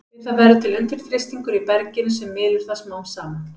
Við það verður til undirþrýstingur í berginu sem mylur það smám saman.